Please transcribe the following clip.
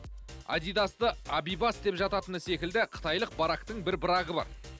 адидасты абибас деп жататыны секілді қытайлық барактың бір брагы бар